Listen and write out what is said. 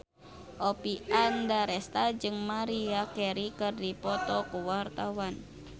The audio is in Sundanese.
Oppie Andaresta jeung Maria Carey keur dipoto ku wartawan